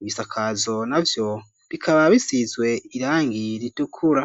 ibisakazo navyo bikaba, bisizwe irangi ritukura.